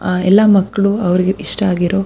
ಅಹ್ ಎಲ್ಲ ಮಕ್ಕಳು ಅವರಿಗೆ ಇಷ್ಟ ಆಗಿರೋ --